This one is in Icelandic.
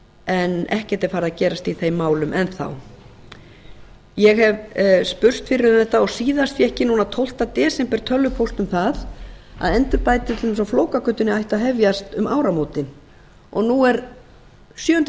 en ekkert er farið að gerast í þeim málum enn þá ég hef spurst fyrir um þetta og síðast fékk ég núna tólfta desember tölvupóst um það að endurbætur á flókagötunni ætti að hefjast um áramótin og nú er sjöunda febrúar og